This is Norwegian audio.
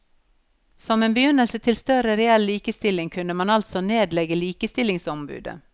Som en begynnelse til større reell likestilling kunne man altså nedlegge likestillingsombudet.